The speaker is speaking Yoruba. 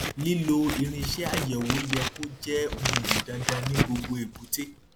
lílo irinṣẹ àyẹwò yẹ kó jẹ um dandan ní gbogbo èbúté